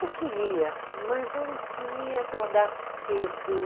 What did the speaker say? Eu queria, mas eu não queria acordar cedo.